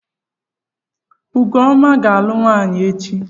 Ọgụọma aga-alụ nwaanyị echi?